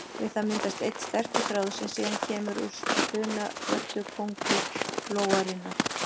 Við það myndast einn sterkur þráður sem síðan kemur úr spunavörtu köngulóarinnar.